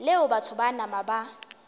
leo batho ba nama ba